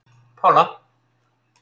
Pála